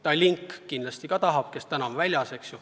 Tallink kindlasti ka tahab seda erandit.